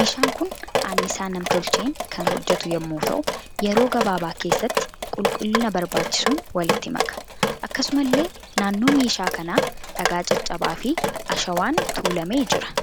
Meeshaan kun annisaa nam-tocheen kan hojjetu yemmuu ta'u yeroo gabaabaa keessatti qulqullina barbaachisuun walitti maka. Akkasumallee naannoo meeshaa kana dhagaa caccabaa fi ashawwaan tuualamee jira.